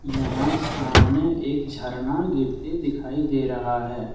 यहा सामने एक झरना गिरते दिखाई दे रहा है।